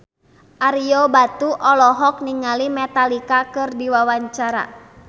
Ario Batu olohok ningali Metallica keur diwawancara